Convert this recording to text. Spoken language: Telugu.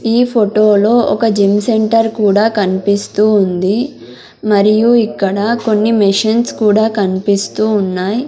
ఈ ఫొటోలో ఒక జిమ్ సెంటర్ కూడా కన్పిస్తూ ఉంది మరియు ఇక్కడ కొన్ని మిషన్స్ కూడా కన్పిస్తూ ఉన్నాయ్.